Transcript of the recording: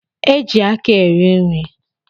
E ji aka eri nri